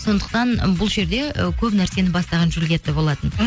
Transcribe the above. сондықтан бұл жерде і көп нәрсені бастаған джулиетта болатын м